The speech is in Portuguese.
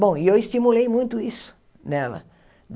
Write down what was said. Bom, e eu estimulei muito isso nela.